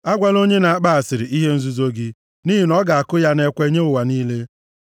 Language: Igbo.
Agwala onye na-akpa asịrị ihe nzuzo gị, nʼihi na ọ ga-akụ ya nʼekwe nye ụwa niile.